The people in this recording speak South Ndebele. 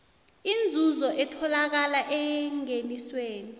inzuzo etholakala engenisweni